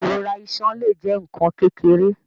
Ìrora iṣan le jẹ nkan kékeré.